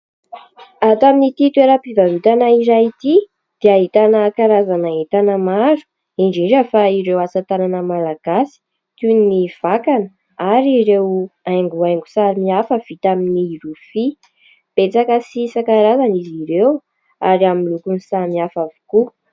Ato amin'ity toeram-pivarotana iray ity dia ahitana karazana entana maro indrindra ; fa ireo asa tanana malagasy toy ny vakana ary ireo haingohaingo sary hafa vita amin'ny rofia, betsaka sy isan-karazany izy ireo ary amin'ny lokony samihafa avokoa.